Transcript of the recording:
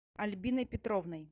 альбиной петровной